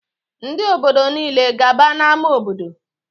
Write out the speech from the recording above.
Ndị obodo nile gaba n'ámá obodo!